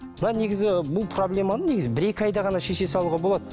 мына негізі бұл проблеманы негізі бір екі айда ғана шеше салуға болады